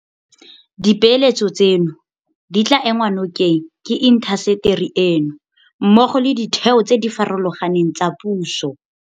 Dipeeletso tseno di tla enngwa nokeng ke intaseteri eno mmogo le ditheo tse di farologaneng tsa puso.